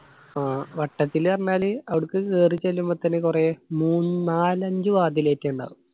ആ വട്ടത്തില് പറഞ്ഞാല് അവിടുക്ക് കേറി ചെല്ലുമ്പോ തന്നെ കൊറേ മൂന്ന് നാലഞ്ചു വാതിലേറ്റം ഇണ്ടാകും